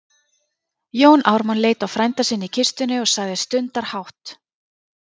Jón Ármann leit á frænda sinn í kistunni og sagði stundarhátt